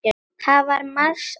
Það var margs að gæta.